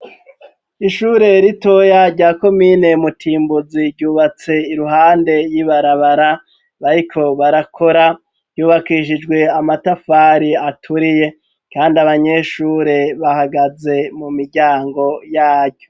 Ishure ritoya rya komine mutimbuzi ryubatse iruhande y'ibarabara bariko barakora ryubakishijwe amatafari aturiye, kandi abanyeshure bahagaze mu miryango y'ayo.